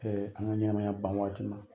an ka ɲanamaya ban wagati ma.